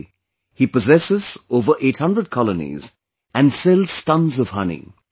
Today he possesses over 800 colonies, and sells tons of honey